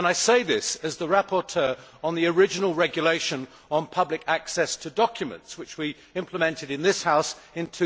I say this as the rapporteur on the original regulation on public access to documents, which we implemented in this House in